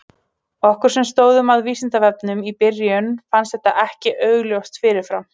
Okkur sem stóðum að Vísindavefnum í byrjun fannst þetta ekki augljóst fyrir fram.